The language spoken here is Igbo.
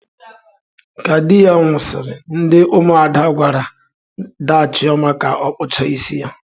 Ka di ya nwusiri, ndi umuada gwara daa Chioma ka okpucha isi ya.